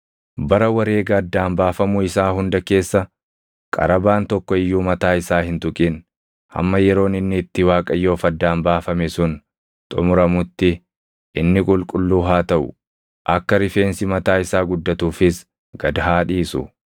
“ ‘Bara wareega addaan baafamuu isaa hunda keessa qarabaan tokko iyyuu mataa isaa hin tuqin. Hamma yeroon inni itti Waaqayyoof addaan baafame sun xumuramutti inni qulqulluu haa taʼu; akka rifeensi mataa isaa guddatuufis gad haa dhiisu.